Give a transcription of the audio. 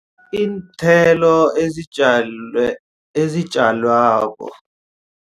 Iinthelo ezitjalwako.